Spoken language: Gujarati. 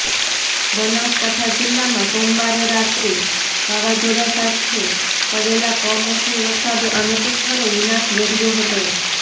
બનાસકાંઠા જિલ્લામાં સોમવારે રાત્રે વાવાઝોડા સાથે પડેલા કમોસમી વરસાદે અનેક સ્થળે વિનાશ વેર્યો હતો